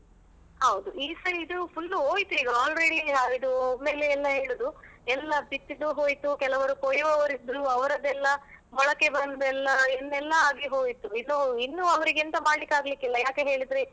ಹೌದು, ಈ side full ಹೋಯ್ತೆ ಈಗ already ಇದು ಒಮ್ಮೆಲೆ ಎಲ್ಲ ಏಳುದು ಎಲ್ಲ ಬಿತ್ತಿದ್ದು ಹೋಯ್ತು, ಕೆಲವರು ಕೊಯ್ಯುವವರಿದ್ರು ಅವರದ್ದೆಲ್ಲ ಮೊಳಕೆ ಬಂದು ಎಲ್ಲ ಏನೆಲ್ಲ ಆಗಿ ಹೋಯ್ತು, ಇನ್ನು ಇನ್ನು ಅವರಿಗೆ ಎಂತ ಮಾಡ್ಲಿಕ್ಕಾಗ್ಲಿಕ್ಕಿಲ್ಲ ಯಾಕೆ ಹೇಳಿದ್ರೆ